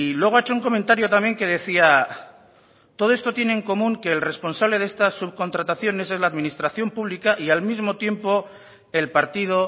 luego ha hecho un comentario también que decía todo esto tiene en común que el responsable de esta subcontratación es la administración pública y al mismo tiempo el partido